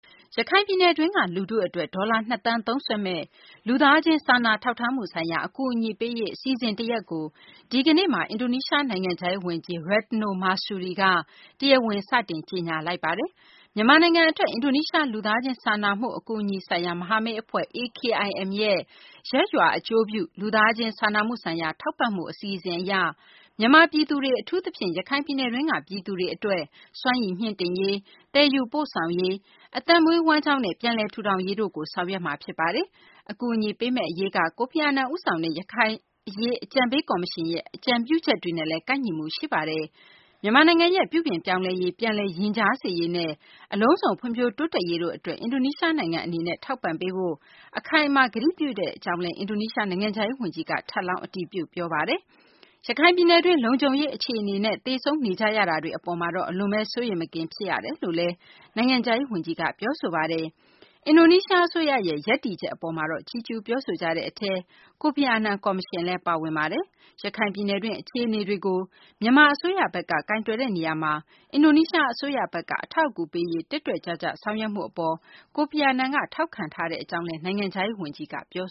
ရခိုင်ပြည်နယ်တွင်းက လူထု အတွက် ဒေါ်လာ ၂ သန်း သုံးစွဲမယ့် လူသားချင်းစာနာထောက်ထားမှု ဆိုင်ရာ အကူအညီပေးရေး အစီအစဉ် တရပ်ကို ဒီကနေ့မှာ အင်ဒိုနီးရှား နိုင်ငံခြားရေး ဝန်ကြီး Retno Marsudi က ဒီကနေ့ တရားဝင် စတင်လိုက်ပါတယ်။ မြန်မာနိုင်ငံ အတွက် အင်ဒိုနီးရှား လူသားချင်း စာနာမှု အကူအညီဆိုင်ရာ မဟာမိတ် အဖွဲ့ AKIM ရဲ့ ရပ်ရွာအကျိုးပြု လူသားချင်းစာနာမှုဆိုင်ရာ ထောက်ပံ့မှု အစီအစဉ် အရ မြန်မာ ပြည်သူတွေ အထူးသဖြင့် ရခိုင်ပြည်နယ်တွင်းက ပြည်သူတွေ အတွက် စွမ်းရည်မြှင့်တင်ရေး၊ သယ်ယူပို့ဆောင်ရေး၊ အသက်မွေးဝမ်းကျောင်းနဲ့ ပြန်လည်ထူထောင်ရေးတို့ကို ဆောင်ရွက်မှာပါ။ ဒီအကူအညီပေးမယ့် အရေးက ကိုဖီအာနန် ဦးဆောင်တဲ့ ရခိုင်အရေး အကြံပေး ကော်မရှင်ရဲ့ အကြံပြုချက်တွေနဲ့လည်း ကိုက်ညီမှု ရှိပါတယ်။ မြန်မာနိုင်ငံရဲ့ ပြုပြင်ပြောင်းလဲရေး၊ ပြန်လည် ရင်ကြားစေ့ရေးနဲ့ အလုံးစုံ ဖွံ့ဖြိုးတိုးတက်ရေးတို့ အတွက် အင်ဒိုနီးရှား နိုင်ငံ အနေနဲ့ ထောက်ပံ့ပေးဖို့ အခိုင်အမာ ကတိပြုတဲ့ အကြောင်းလည်း အင်ဒိုနီးရှား နိုင်ငံခြားရေး ဝန်ကြီးက ထပ်လောင်း အတည်ပြု ပြောဆိုပါတယ်။ ရခိုင်ပြည်နယ်တွင်း လုံခြုံရေး အခြေအနေနဲ့ သေဆုံးနေကြရတာတွေ အပေါ်မှာတော့ အလွန်ဘဲ စိုးရိမ်မကင်း ဖြစ်ရကြောင်းလည်း နိုင်ငံခြားရေး ဝန်ကြီးက ပြောပါတယ်။ အင်ဒိုနီးရှား အစိုးရရဲ့ ရပ်တည်ချက် အပေါ်မှာတော့ ချီးကျူးပြောဆိုကြတဲ့ အထဲမှာ ကိုဖီအာနန် ကော်မရှင်လည်း ပါဝင်ပါတယ်။ ရခိုင် ပြည်နယ်တွင်း အခြေအနေတွေကို မြန်မာ အစိုးရဘက်က ကိုင်တွယ်တဲ့ နေရာမှာ အင်ဒိုနီးရှား အစိုးရဘက်က အထောက်အကူပေးရေး တက်တက်ကြွကြွ ဆောင်ရွက်မှု အပေါ် ကိုဖီအာနန်က ထောက်ခံတဲ့ အကြောင်း နိုင်ငံခြားရေး ဝန်ကြီး Retno က ပြော